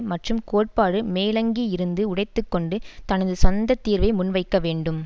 மற்றும் கோட்பாட்டு மேலங்கியிருந்து உடைத்து கொண்டு தனது சொந்த தீர்வை முன்வைக்கவேண்டும்